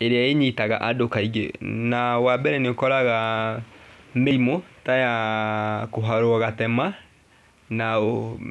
ĩrĩa ĩnyitaga andũ kaingĩ. Na wambere nĩũkoraga mĩrimũ ta ya kũharwo gatema, na